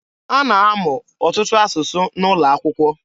A na-amụ ọtụtụ asụsụ N'ụlọakwụkwọ.